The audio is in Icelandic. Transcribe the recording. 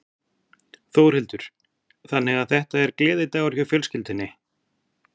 Þórhildur: Þannig að þetta er gleðidagur hjá fjölskyldunni?